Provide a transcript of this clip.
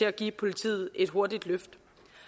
at give politiet et hurtigt løft